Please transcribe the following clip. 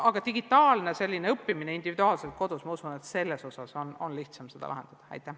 Aga digitaalne individuaalne kodus õppimine – ma usun, et selle abil on lihtsam seda probleemi lahendada.